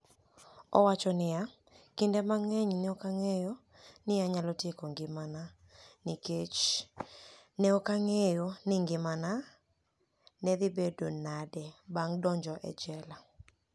Owacho niiya: "Kinide manig'eniy, ni e ani eno nii ok aniyal tieko nigimania niikech ni e ok anig'eyo nii nigimania ni e dhi bedo niade banig' donijo e jela".